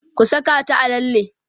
ku Saka ta a lalle!